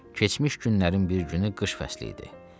Keçmiş günlərin bir günü qış fəsil idi.